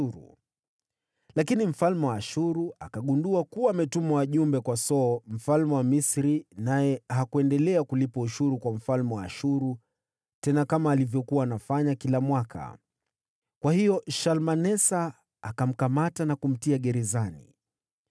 Lakini mfalme wa Ashuru akagundua kuwa Hoshea alikuwa msaliti, kwa kuwa alikuwa ametuma wajumbe kwa So mfalme wa Misri, naye hakuendelea kulipa ushuru kwa mfalme wa Ashuru tena kama alivyokuwa anafanya kila mwaka. Kwa hiyo Shalmanesa akamkamata na kumtia gerezani.